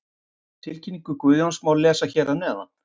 Tilkynningu Guðjóns má lesa hér að neðan.